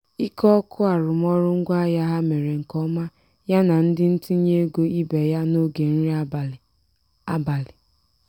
ike oke arụmaọrụ ngwaahịa ha mere nke ọma ya na ndị ntinye ego ibe ya n'oge nri abalị. abalị.